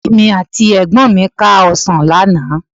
Èmi àti ẹ̀gbọ́n mi ká ọ̀sán lánàá